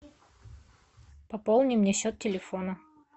пополни мне счет телефона